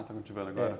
está cultivando agora? é